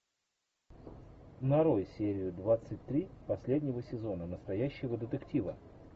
нарой серию двадцать три последнего сезона настоящего детектива